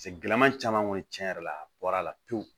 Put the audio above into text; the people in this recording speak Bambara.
gɛlɛma caman kɔni tiɲɛ yɛrɛ la a bɔra la pewu